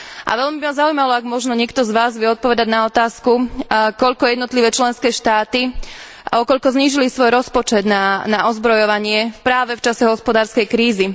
A veľmi by ma zaujímalo, ak možno niekto z vás vie odpovedať na otázku koľko jednotlivé členské štáty, o koľko znížili svoj rozpočet na ozbrojovanie práve v čase hospodárskej krízy?